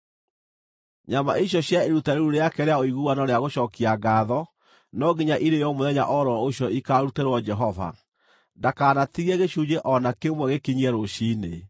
Nyama icio cia iruta rĩu rĩake rĩa ũiguano rĩa gũcookia ngaatho no nginya irĩĩo mũthenya o ro ũcio ikaarutĩrwo Jehova; ndakanatigie gĩcunjĩ o na kĩmwe gĩkinyie rũciinĩ.